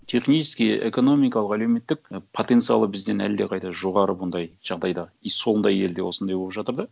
технически экономикалық әлеуметтік потенциалы бізден әлдеқайда жоғары бұндай жағдайда и сондай елде осындай болып жатыр да